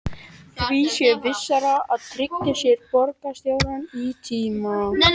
Því sé vissara að tryggja sér borgarstjóra í tíma.